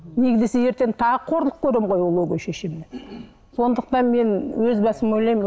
неге десе ертең тағы қорлық көремін ғой ол өгей шешемнен сондықтан мен өз басым ойлаймын